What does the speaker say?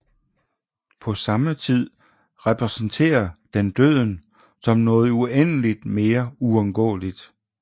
På samme tid repræsenterer den døden som noget uendeligt mere uundgåeligt